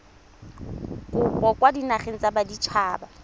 kopo kwa dinageng tsa baditshaba